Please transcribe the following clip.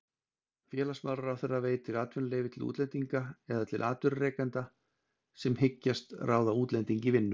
Félagsmálaráðherra veitir atvinnuleyfi til útlendinga eða til atvinnurekanda sem hyggst ráða útlending í vinnu.